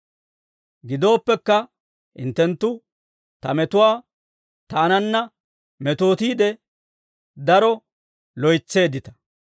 Gidooppekka, hinttenttu ta metuwaa taananna metootiide daro loytseeddita;